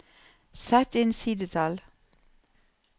Sett inn sidetall